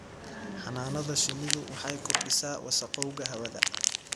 Xannaanada shinnidu waxay kordhisaa wasakhowga hawada.